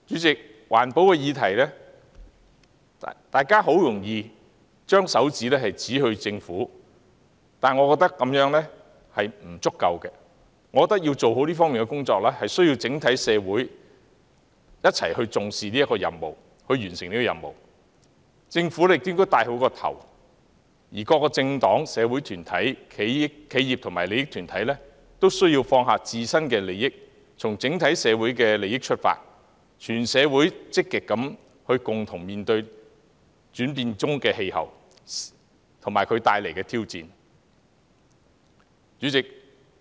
在環保議題上，大家很容易便把手指指向政府，我覺得這樣並不足夠，我認為要做好這方面的工作，需要整體社會一起重視、一起完成這任務，政府應做好其主導角色，而各個政黨、社會團體、企業和利益團體均須放下自身利益，從整體社會利益出發，積極共同面對轉變中的氣候及其帶來的挑戰。